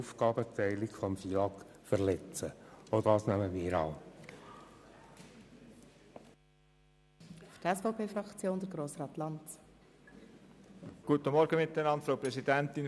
Zudem würde dadurch die Aufgabenteilung des Finanz- und Lastenausgleichgesetzes (FILAG) verletzt.